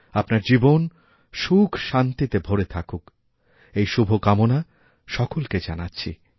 আপনার জীবন সুখশান্তিতে ভরে থাকুক এই শুভকামনা সকলকে জানাচ্ছি